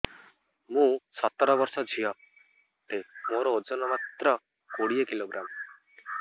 ମୁଁ ସତର ବର୍ଷ ଝିଅ ଟେ ମୋର ଓଜନ ମାତ୍ର କୋଡ଼ିଏ କିଲୋଗ୍ରାମ